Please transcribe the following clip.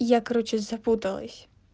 я короче запуталась